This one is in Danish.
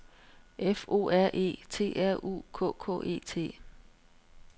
F O R E T R U K K E T